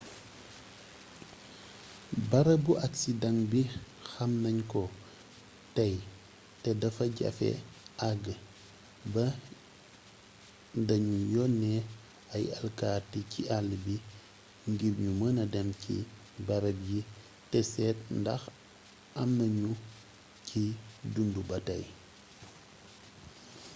barabu aksidaŋ bi xam nañ ko tey te dafa jafe àgg ba da ñu yónnee ay alkati ci àll bi ngir ñu mëna dem ci barab yi te seet ndax am na ñu ciy dundu ba tey